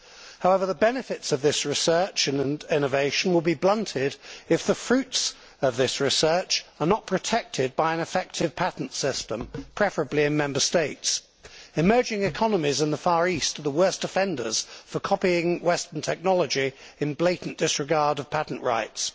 However, the benefits of this research and innovation will be blunted if the fruits of the research are not protected by an effective patents system, preferably in the Member States. Emerging economies in the Far East are the worst offenders for copying western technology in blatant disregard of patent rights.